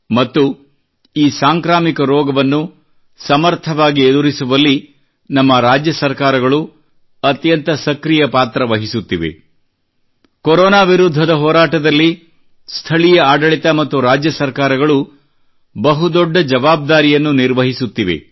ಮತ್ತು ಈ ಸಾಂಕ್ರಾಮಿಕ ರೋಗವನ್ನು ಸಮರ್ಥವಾಗಿ ಎದುರಿಸುವಲ್ಲಿ ನಮ್ಮ ರಾಜ್ಯ ಸರ್ಕಾರಗಳು ಅತ್ಯಂತ ಸಕ್ರಿಯ ಪಾತ್ರ ವಹಿಸುತ್ತಿವೆ ಕೊರೊನಾ ವಿರುದ್ಧದ ಹೋರಾಟದಲ್ಲಿ ಸ್ಥಳೀಯ ಆಡಳಿತ ಮತ್ತು ರಾಜ್ಯ ಸರ್ಕಾರಗಳು ಬಹುದೊಡ್ಡ ಜವಾಬ್ದಾರಿಯನ್ನು ನಿರ್ವಹಿಸುತ್ತಿವೆ